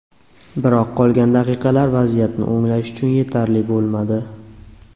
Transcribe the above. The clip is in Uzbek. Biroq qolgan daqiqalar vaziyatni o‘nglash uchun yetarli bo‘lmadi.